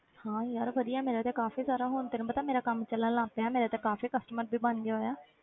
ਹਾਂ ਯਾਰ ਵਧੀਆ ਮੇਰਾ ਤੇ ਕਾਫ਼ੀ ਸਾਰਾ ਹੁਣ ਤੈਨੂੰ ਪਤਾ ਹੈ ਮੇਰਾ ਕੰਮ ਚੱਲਣ ਲੱਗ ਪਿਆ ਮੇਰਾ ਤੇ ਕਾਫ਼ੀ customer ਵੀ ਬਣ ਗਏ ਹੋਏ ਆ।